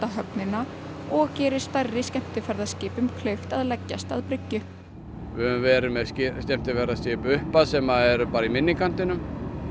höfnina og gerir stærri skemmtiferðaskipum kleift að leggjast að bryggju við höfum verið með skemmtiferðaskip upp að sem eru bara í minni kantinum